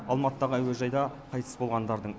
алматыдағы әуежайда қайтыс болғандардың